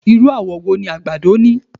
Irú àwọ̀ wo ni àgbàdo ni?